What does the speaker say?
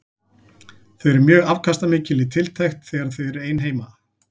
Þau eru mjög afkastamikil í tiltekt þegar þau eru ein heima.